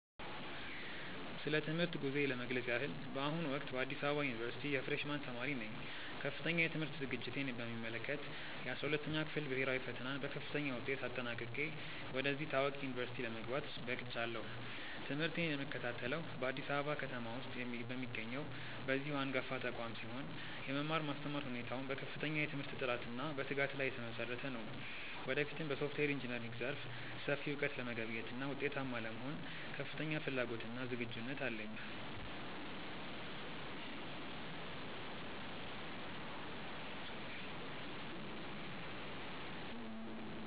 ስለ ትምህርት ጉዞዬ ለመግለጽ ያህል፣ በአሁኑ ወቅት በአዲስ አበባ ዩኒቨርሲቲ የፍሬሽ ማን ተማሪ ነኝ። ከፍተኛ የትምህርት ዝግጅቴን በሚመለከት፣ የ12ኛ ክፍል ብሄራዊ ፈተናን በከፍተኛ ውጤት አጠናቅቄ ወደዚህ ታዋቂ ዩኒቨርሲቲ ለመግባት በቅቻለሁ። ትምህርቴን የምከታተለው በአዲስ አበባ ከተማ ውስጥ በሚገኘው በዚሁ አንጋፋ ተቋም ሲሆን፣ የመማር ማስተማር ሁኔታውም በከፍተኛ የትምህርት ጥራትና በትጋት ላይ የተመሰረተ ነው። ወደፊትም በሶፍትዌር ኢንጂነሪንግ ዘርፍ ሰፊ እውቀት ለመገብየትና ውጤታማ ለመሆን ከፍተኛ ፍላጎትና ዝግጁነት አለኝ።